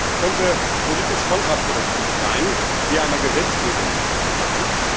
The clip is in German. Es könnte politisch kontraproduktiv sein, hier eine Gesetzgebung zu machen.